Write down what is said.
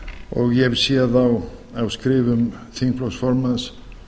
og ég hef séð á skrifum þingflokks formanns